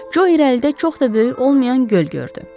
Jo irəlidə çox da böyük olmayan göl gördü.